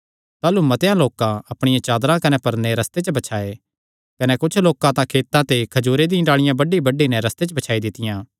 ताह़लू मतेआं लोकां अपणियां चादरां कने परने रस्ते च बछाये कने होरनी तां खेतां ते खजूरे दी डाल़िआं बड्डीबड्डी नैं रस्ते च बछाई दित्तियां